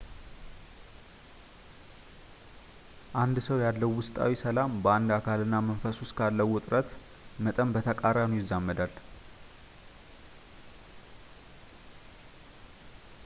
አንድ ሰው ያለው ውስጣዊ ሰላም በአንድ አካል እና መንፈስ ውስጥ ካለው ውጥረት መጠን በተቃራኒው ይዛመዳል